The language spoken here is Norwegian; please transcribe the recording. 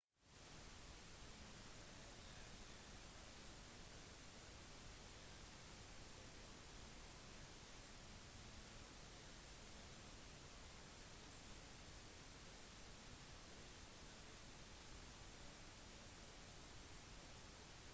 når alle enkeltpersoner i en befolkning er identiske når det gjelder et spesielt fenotypisk trekk er de kjent som monomorfiske